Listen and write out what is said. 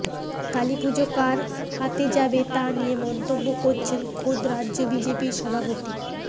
কালীপুজো কার হাতে যাবে তা নিয়ে মন্তব্য করেছেন খোদ রাজ্য বিজেপির সভাপতি